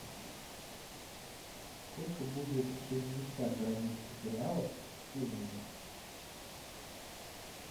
сколько будет шестьдесят бразильских реалов в шиллингах